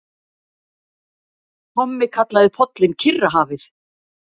Tommi kallaði pollinn Kyrrahafið.